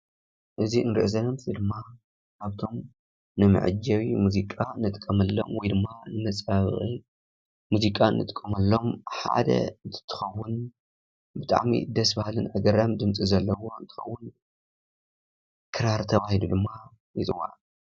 እዚ እንርኦ ዘለና ምስሊ ድማ ካብቶም ንመዐጀቢ ሙዚቓ ንጥቀመሎም ወይድማ ንመፀባበቂ ሙዚቓ እንጥቀመሎም ሓደ እንትኸውን ብጣዕሚ ደስ ባሃሊ ኣገራሚ ድምፂ ዘለዎ እንትኸውን ክራር ተባሂሉ ድማ ይፅዋዕ።